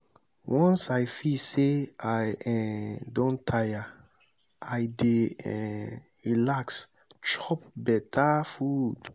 once i feel sey i um don tire i dey um relax chop beta food.